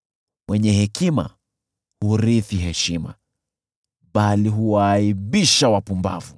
Wenye hekima hurithi heshima, bali huwaaibisha wapumbavu.